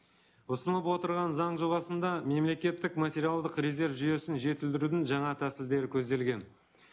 ұсынып отырған заң жобасында мемлекеттік материалдық резерв жүйесін жетілдірудің жаңа тәсілдері көзделген